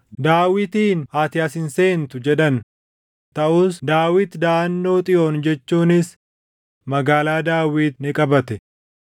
Daawitiin, “Ati as hin seentu” jedhan. Taʼus Daawit daʼannoo Xiyoon jechuunis Magaalaa Daawit ni qabate.